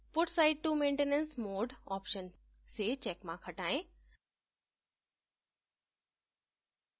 put site to maintenance mode option से checkmark हटाएँ